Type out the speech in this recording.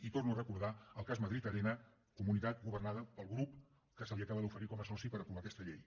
i torno a recordar el cas madrid arena comunitat governada pel grup que se li acaba d’oferir com a soci per aprovar aquesta llei